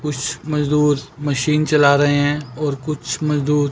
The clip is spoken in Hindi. कुछ मजदूर मशीन चला रहे हैं और कुछ मजदूर--